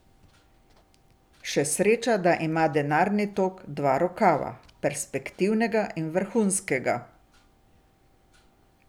In še sreča, da ima denarni tok dva rokava, perspektivnega in vrhunskega.